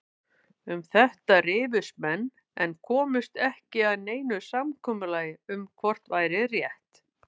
Um þetta rifust menn en komust ekki að neinu samkomulagi um hvort væri rétt.